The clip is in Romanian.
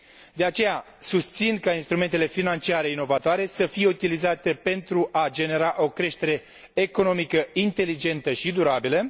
De aceea, susțin ca instrumentele financiare inovatoare să fie utilizate pentru a genera o creștere economică inteligentă și durabilă.